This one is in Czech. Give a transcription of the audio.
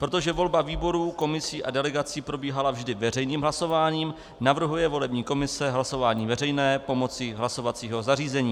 Protože volba výborů, komisí a delegací probíhala vždy veřejným hlasováním, navrhuje volební komise hlasování veřejné pomocí hlasovacího zařízení.